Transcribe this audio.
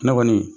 Ne kɔni